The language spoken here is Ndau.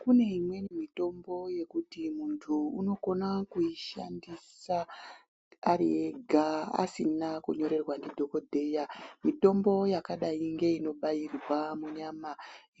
Kune imweni mitombo yekuti muntu unokona kuushandisa ari ega asina kunyorerwa ndidhikodheya mitombo yakadai ngeinobairwa munyama